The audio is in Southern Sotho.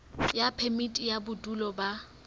ya phemiti ya bodulo ba